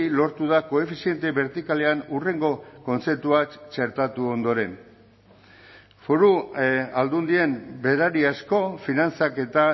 lortu da koefiziente bertikalean hurrengo kontzeptuak txertatu ondoren foru aldundien berariazko finantzaketa